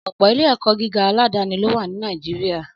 Ọ̀pọ̀ ilé-ẹ̀kọ́ gíga aládàáni ló wà ní Nàìjíríà